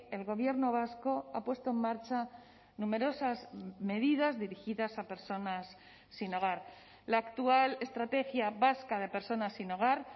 el gobierno vasco ha puesto en marcha numerosas medidas dirigidas a personas sin hogar la actual estrategia vasca de personas sin hogar